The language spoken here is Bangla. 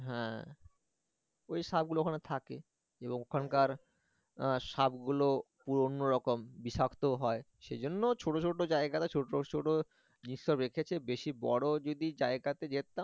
হ্যাঁ ওই সাপ গুলো ওখানে থাকে এবং ওখানকার আহ সাপ গুলো একটু অন্যরকম বিষাক্ত হয় সেজন্য ছোটো ছোটো জায়গা তে ছোটো ছোটো জিনিস সব রেখেছে বেশি বড় যদি জায়গাতে যেতাম